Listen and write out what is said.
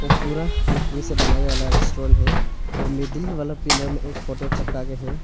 पूरा लकड़ी से बनाया वाला रेस्टोरेंट है वह मिडिल वाला पिलर में एक फोटो चपका के है।